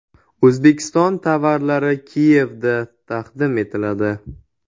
O‘zbekiston tovarlari Kiyevda taqdim etiladi.